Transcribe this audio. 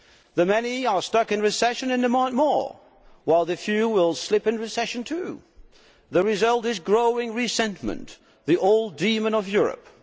The many are stuck in recession and demand more, while the few will slip into recession too. The result is growing resentment the old demon of Europe.